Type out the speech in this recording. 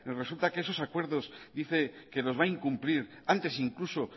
resulta que esos acuerdos dice que los va a incumplir antes incluso